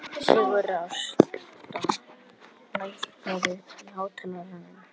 Sigurásta, lækkaðu í hátalaranum.